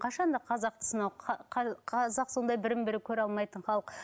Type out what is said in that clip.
қашан да қазақты сынау қазақ сондай бірін бірі көре алмайтын халық